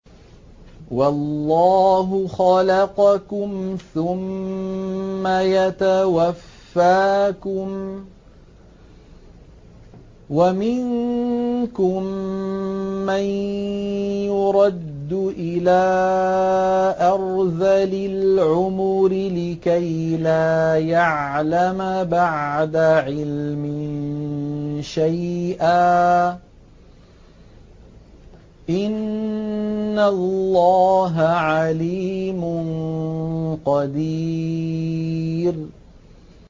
وَاللَّهُ خَلَقَكُمْ ثُمَّ يَتَوَفَّاكُمْ ۚ وَمِنكُم مَّن يُرَدُّ إِلَىٰ أَرْذَلِ الْعُمُرِ لِكَيْ لَا يَعْلَمَ بَعْدَ عِلْمٍ شَيْئًا ۚ إِنَّ اللَّهَ عَلِيمٌ قَدِيرٌ